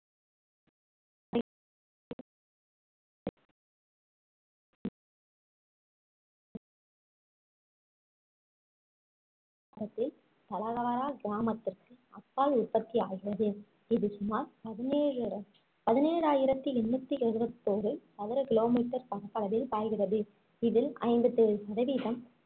கிராமத்திற்கு அப்பால் உற்பத்தி ஆகிறது இது சுமார் பதினேழு~ பதினேழாயிரத்தி எண்ணூத்தி எழுபத்தோரு சதுர kilometer பரப்பளவில் பாய்கிறது இதில் ஐம்பத்தி ஏழு சதவீதம்